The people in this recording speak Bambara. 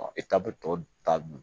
Ɔ e ta bɛ tɔ